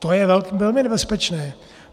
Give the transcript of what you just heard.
To je velmi nebezpečné.